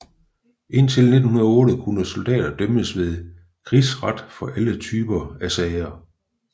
Indtil 1908 kunne soldater dømmes ved krigsret for alle typer af sager